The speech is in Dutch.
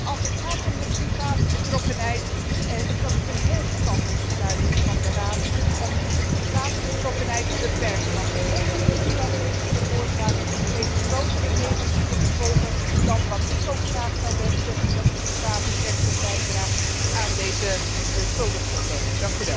Als het gaat om de private betrokkenheid, denk ik dat het een heel verstandig besluit van de Raad is om de private betrokkenheid te beperken, want de onrust die dat heeft veroorzaakt, heeft grotere negatieve gevolgen dan wat ik ook graag zou wensen, namelijk dat de privé sector bijdraagt aan deze schuldenproblemen.